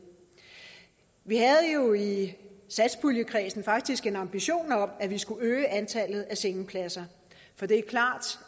vi havde jo i satspuljekredsen faktisk en ambition om at vi skulle øge antallet af sengepladser for det er klart